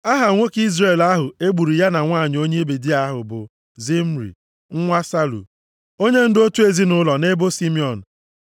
Aha nwoke Izrel ahụ e gburu ya na nwanyị onye Midia ahụ bụ Zimri, nwa Salu, onyendu otu ezinaụlọ nʼebo Simiọn.